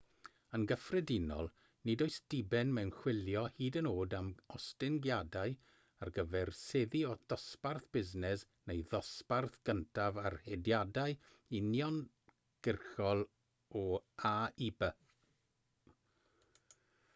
yn gyffredinol nid oes diben mewn chwilio hyd yn oed am ostyngiadau ar gyfer seddi dosbarth busnes neu ddosbarth cyntaf ar hediadau uniongyrchol o a i b